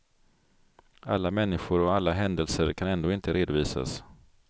Alla människor och alla händelser kan ändå inte redovisas.